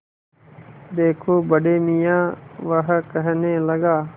देखो बड़े मियाँ वह कहने लगा